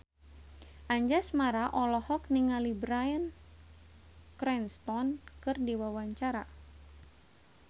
Anjasmara olohok ningali Bryan Cranston keur diwawancara